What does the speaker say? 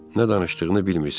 Nə danışdığını bilmirsən.